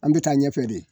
An bɛ taa ɲɛfɛ de